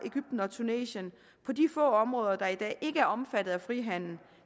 egypten og tunesien på de få områder der i dag ikke er omfattet af frihandel